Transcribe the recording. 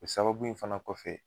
O sababu in fana kɔfɛ.